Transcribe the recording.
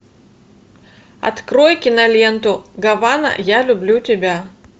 открой киноленту гавана я люблю тебя